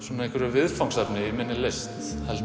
viðfangsefni í minni list held